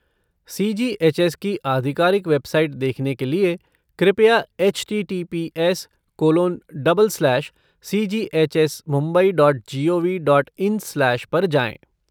सी जी H S की आधिकारिक website देखने के लिए कृपया HTTPS colon double slash सीजीएचएसमुम्बई dot gov dot in slash पर जाएँ।